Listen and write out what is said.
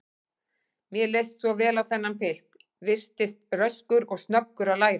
Mér leist svo vel á þennan pilt, virtist röskur og snöggur að læra.